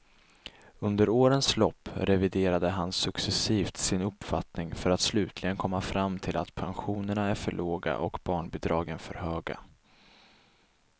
Under årens lopp reviderar han successivt sin uppfattning för att slutligen komma fram till att pensionerna är för låga och barnbidragen för höga.